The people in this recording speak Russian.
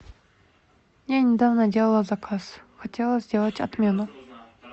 я недавно делала заказ хотела сделать отмену